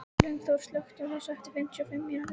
Lyngþór, slökktu á þessu eftir fimmtíu og fimm mínútur.